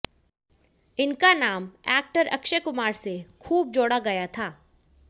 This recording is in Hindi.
इनका नाम एक्टर अक्षय कुमार से खूब जोड़ा गया था